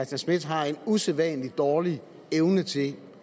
schmidt har en usædvanlig dårlig evne til